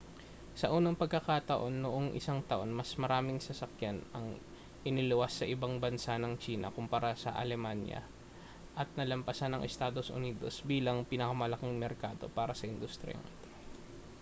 sa unang pagkakataon noong isang taon mas maraming sasakyan ang iniluwas sa ibang bansa ng tsina kumpara sa alemanya at nalampasan ang estados unidos bilang pinakamalaking merkado para sa industriyang ito